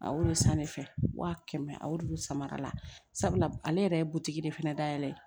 A y'olu san ne fɛ wa kɛmɛ a y'olu sama la sabula ale yɛrɛ ye butigi de fɛnɛ dayɛlɛn